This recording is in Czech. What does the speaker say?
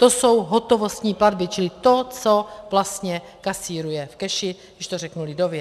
To jsou hotovostní platby, čili to, co vlastně kasíruje v cashi, když to řeknu lidově.